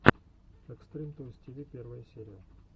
экстрим тойс ти ви первая серия